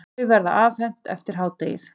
Þau verða afhent eftir hádegið.